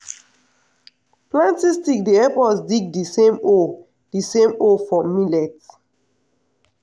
planting stick dey help us dig d same hole d same hole for millet.